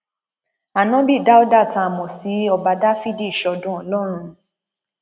ánábì dáúdà tá a mọ sí ọba dáfídì ṣọdún ọlọrun